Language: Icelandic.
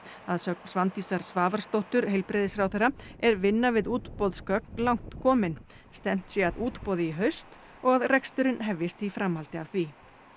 að sögn Svandísar Svavarsdóttur heilbrigðisráðherra er vinna við útboðsgögn langt komin stefnt sé að útboði í haust og að reksturinn hefjist í framhaldi af því